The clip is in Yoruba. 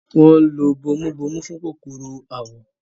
wọ́n ń lo “bomubómú” fún kòkòrò àwọ̀.